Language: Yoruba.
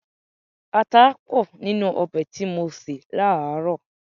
Ata pọ̀ nínú ọbẹ̀ tí mo sè láàárọ̀.